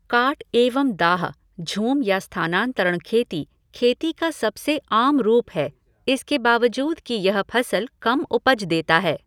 काट एवं दाह, झूम या स्थानांतरण खेती, खेती का सबसे आम रूप है इसके बावूद कि यह फसल कम उपज देता है।